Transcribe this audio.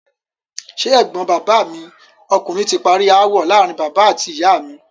Ṣé ẹ̀gbọ́n bàbá mi ọkùnrin ti parí ááwọ̀ láàárín bàbá àti ìyá mi?